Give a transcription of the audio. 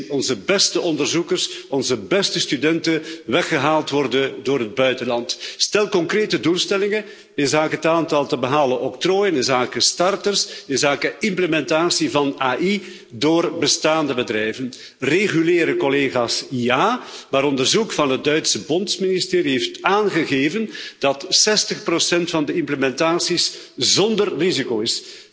Wij zien onze beste onderzoekers en onze beste studenten weggehaald worden door het buitenland. Stel concrete doelstellingen inzake het aantal te behalen octrooien, inzake starters en inzake implementatie van AI door bestaande bedrijven. Reguleren, collega's, ja. Maar onderzoek van het Duitse Bondsministerie heeft aangegeven dat 60 van de implementaties zonder risico is.